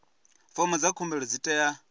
fomo dza khumbelo dzi tea